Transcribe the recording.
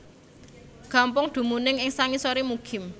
Gampong dumunung ing sangisoré Mukim